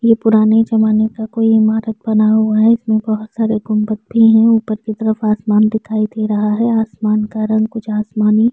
यह पुराने जमाने का कोई इमारत बना हुआ है इसमें बहौत सारे गुंबद भी हैं ऊपर की तरफ आसमान दिखाई दे रहा है आसमान का रंग कुछ आसमानी --